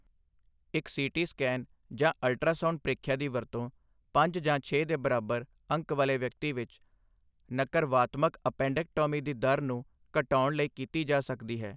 ਇੱਕ C T scan ਜਾਂ ultrasound ਪ੍ਰੀਖਿਆ ਦੀ ਵਰਤੋਂ ਪੰਜ ਜਾਂ ਛੇ ਦੇ ਬਰਾਬਰ ਅੰਕ ਵਾਲੇ ਵਿਅਕਤੀ ਵਿੱਚ, ਨਕਰਵਾਤਮਕ ਐਪੇਂਡਕਟੌਮੀ ਦੀ ਦਰ ਨੂੰ ਘਟਾਉਣ ਲਈ ਕੀਤੀ ਜਾ ਸਕਦੀ ਹੈ।